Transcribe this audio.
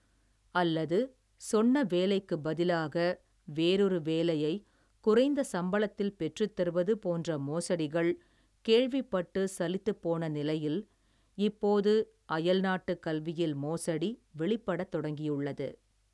அல்லது சொன்ன வேலைக்குப் பதிலாக வேறொரு வேலையை குறைந்த சம்பளத்தில் பெற்றுத்தருவது போன்ற மோசடிகள் கேள்விப்பட்டு சலித்துப்போன நிலையில் இப்போது அயல்நாட்டுக் கல்வியில் மோசடி வெளிப்படத் தொடங்கியுள்ளது.